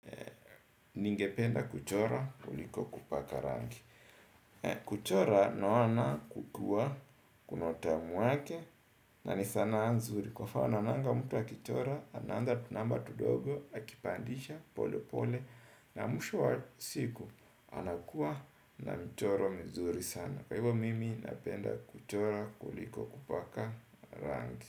Ningependa kuchora kuliko kupaka rangi. Kuchora naona kukiwa kuna utamu wake. Na ni sana nzuri kwa mfano naonanga mtu akichora. Anaandaa tunamba tudogo akipandisha pole pole. Na mwisho wa siku anakuwa na mchoro mzuri sana. Kwa hivyo mimi napenda kuchora kuliko kupaka rangi.